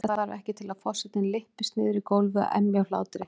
Meira þarf ekki til að forsetinn lyppist niður í gólfið og emji af hlátri.